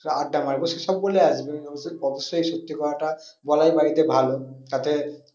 সব আড্ডা মারবো সে সব বলে আসবে অবশ্যই, অবশ্যই সত্যি কথাটা বলাই বাড়িতে ভালো তাতে